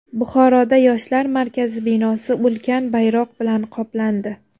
Buxoroda Yoshlar markazi binosi ulkan bayroq bilan qoplandi .